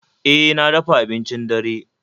E, na dafa abincin dare